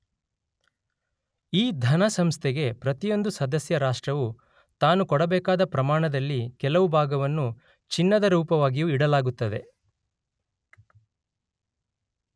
ಈ ಧನ ಸಂಸ್ಥೆಗೆ ಪ್ರತಿಯೊಂದು ಸದಸ್ಯ ರಾಷ್ಟ್ರವೂ ತಾನು ಕೊಡಬೇಕಾದ ಪ್ರಮಾಣದಲ್ಲಿ ಕೆಲವು ಭಾಗವನ್ನು ಚಿನ್ನದ ರೂಪವಾಗಿಯೂ ಇಡಲಾಗುತ್ತದೆ